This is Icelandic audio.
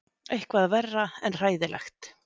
Eitthvað verra en hræðilegt.